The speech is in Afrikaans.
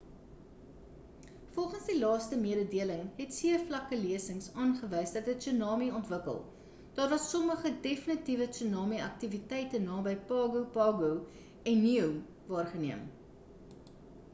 volgens die laaste mededeling het seevlakke lesings aangewys dat 'n tsunami ontwikkel daar was sommige definitiewe tsunami aktiwiteite naby pago pago en niue waargeneem